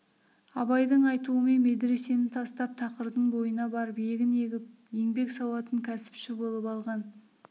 абайдың айтуымен медресені тастап тақырдың бойына барып егін егіп еңбек сауатын кәсіпші болып алған